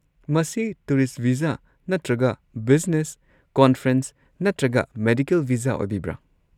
ꯃꯁꯤ tourist visa ꯅꯠꯇ꯭ꯔꯒ business, conference ꯅꯠꯇ꯭ꯔꯒ ꯃꯦꯗꯤꯀꯦꯜ ꯚꯤꯖꯥ ꯑꯣꯏꯕꯤꯕ꯭ꯔꯥ?